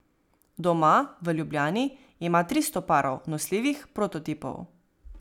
Doma, v Ljubljani, ima tristo parov, nosljivih, prototipov.